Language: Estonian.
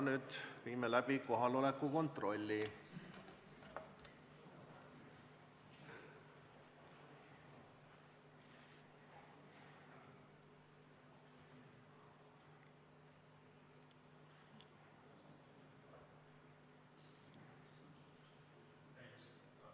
Nüüd viime läbi kohaloleku kontrolli.